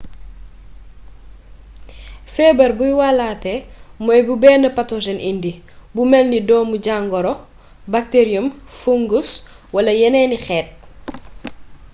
fébar buy wallaaté mooy bu bénn pathogen indi bu mélni ddoomu jangoro bacterium fungus wala yénééni xéét